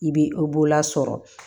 I bɛ o bola sɔrɔ